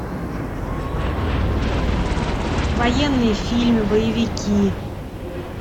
военные фильмы боевики